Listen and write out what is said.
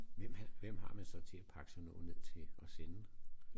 Hvem hvem har man så til at pakke sådan noget ned til og sende?